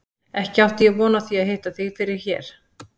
Ekki átti ég von á því að hitta þig fyrir hér!